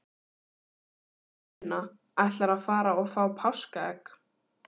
Sunna: Ætlarðu að fara og fá páskaegg?